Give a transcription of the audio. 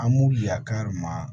An b'u ya kari ma